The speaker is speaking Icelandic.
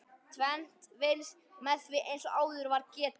Tvennt vinnst með því eins og áður var getið.